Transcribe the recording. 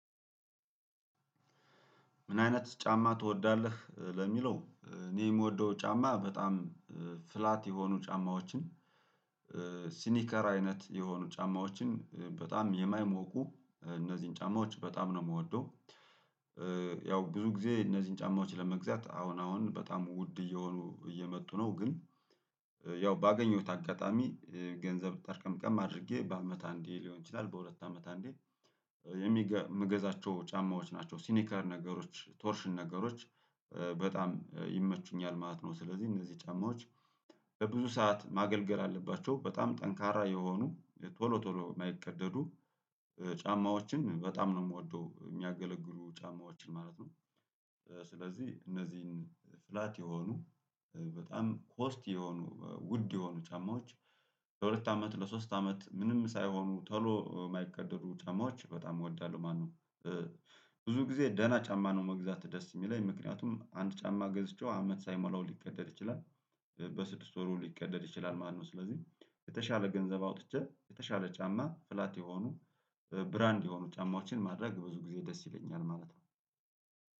ምን አይነት ጫማ ትወዳለህ? ለሚለው እኔ የምወደው ጫማ በጣም ፍላት የሆኑ ጫማዎችን ሲኒከር አይነት የሆኑ ጫማዎችን በጣም የማይሞቁ እነዚህን ጫማዎች በጣም ነው የምወደው። ያው ብዙ ጊዜ እነዚህን ጫማዎች ለመግዛት አሁን አሁን በጣም ውድ እየሆኑ እየመጡ ነው ግን ያው ባገኘሁት አጋጣሚ። ገንዘብ ጠርቀምቀም አድርጌ በአመት አንዴ ሊሆን ይችላል በሁለት አመት አንዴ የምገዛቸው ጫማዎች ናቸው ሲኒከር ነገሮች ቶርሽን ነገሮች በጣም ይመቹኛል ማለት ነው። ስለዚህ እነዚህ ጫማዎች በብዙ ሰዓት ማገልገል አለባቸው በጣም ጠንካራ የሆኑ ቶሎ ቶሎ የማይቀደዱ ጫማዎችን በጣም ነው የምወደው የሚያገለግሉ ጫማዎችን ማለት ነው። ስለዚህ እነዚህን ፍላት የሆኑ በጣም ኮስት የሆኑ ውድ የሆኑ ጫማዎች ለሁለት አመት ለሶስት አመት ምንም ሳይሆኑ ቶሎ የማይቀደዱ ጫማዎች በጣም እወዳለሁ። ማነው ብዙ ጊዜ ደህና ጫማ ነው መግዛት ደስ የሚለኝ ምክንያቱም አንድ ጫማ ገዝቼው አመት ሳይሞላው ሊቀደድ ይችላል በስድስት ወሩ ሊቀደድ ይችላል ማለት ነው። ስለዚህ የተሻለ ገንዘብ አውጥቼ የተሻለ ጫማ ፍላት የሆኑ ብራንድ የሆኑ ጫማዎችን ማድረግ ብዙ ጊዜ ደስ ይለኛል ማለት ነው።